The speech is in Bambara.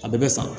A bɛɛ bɛ san